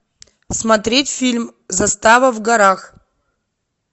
смотреть фильм застава в горах